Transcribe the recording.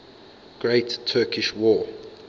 great turkish war